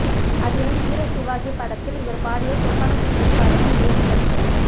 அதிலும் வீரசிவாஜி படத்தில் இவர் பாடிய சொப்பன சுந்தரி பாடலை மேலும் படிக்க